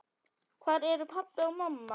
Hvar eru pabbi og mamma?